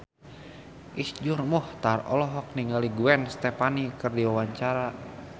Iszur Muchtar olohok ningali Gwen Stefani keur diwawancara